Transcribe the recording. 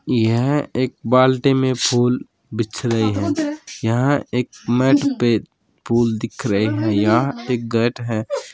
यह एक बाल्टी में फूल बिछ रहे हैं यह एक मैट पे फूल दिख रहे हैं या एक गैट है।